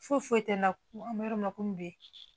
Foyi foyi tɛ na an bɛ yɔrɔ min komi bi